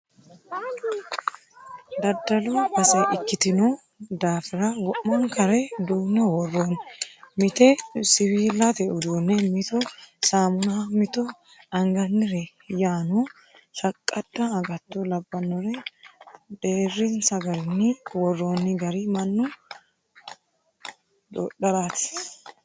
Daddalu base ikkitino daafira wo'mankare duune woronni mite siwiilate uduune mitto saamunna mitto angannire yaano shaqqada agatto labbinore deerinsa garinni woroonni gari mannu dodharati.